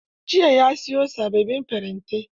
Jiya ya siyo sababbin farantai.